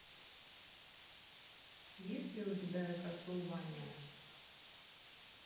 есть ли у тебя кастлвания